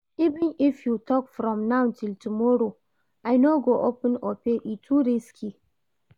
Even if you talk from now till tomorrow, I no go open opay, e too risky